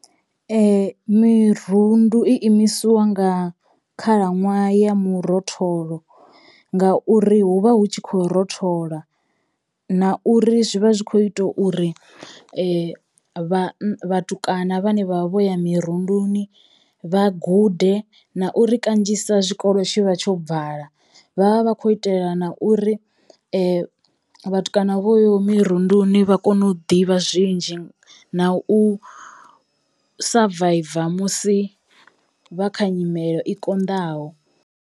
Mirundu i imisiwa nga khalaṅwaha ya murotholo ngauri hu vha hu tshi khou rothola na uri zwi vha zwi kho ita uri vhan vhatukana vhane vha vha vho ya mirunduni vha gude na uri kanzhisa zwikolo tshi vha tsho vala vha vha vha khou itela na uri vhatukana vhoyo mirunduni vha kone u ḓivha zwinzhi na u savaiva musi vha kha nyimele i konḓaho.